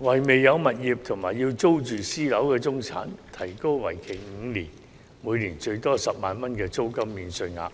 為未有物業及要租住私樓的中產提供為期5年，每年最多10萬元的租金免稅額。